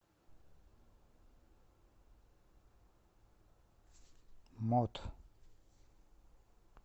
мот